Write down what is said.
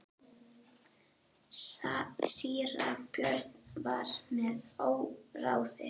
Síra Björn var með óráði.